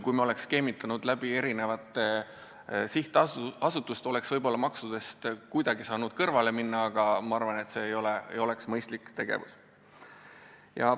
Kui me oleks skeemitanud läbi erinevate sihtasutuste, siis me oleks võib-olla saanud maksudest kuidagi kõrvale minna, aga ma arvan, et see ei oleks olnud mõistlik tegevus.